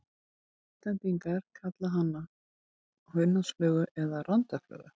Íslendingar kalla hana hunangsflugu eða randaflugu.